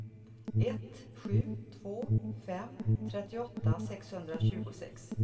ett sju två fem trettioåtta sexhundratjugosex